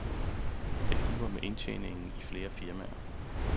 Det kniber med indtjeningen i flere firmaer.